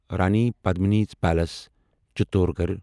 Rani Padmini's palace Chittorgarh